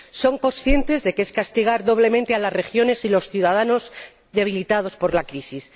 Son conscientes de que es castigar doblemente a las regiones y a los ciudadanos, debilitados por la crisis.